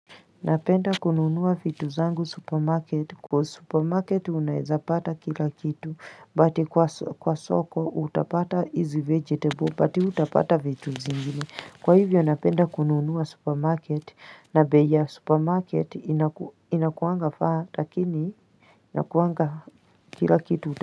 Napenda kunuunuwa vitu zangu supermarket kwa supermarket unaeza pata kila kitu But kwa soko utapata hizi vegetable byt utapata vitu zingini Kwa hivyo napenda kunuunuwa supermarket na bei ya supermarket inakuangafaa lakini Inakuanga kila kitu.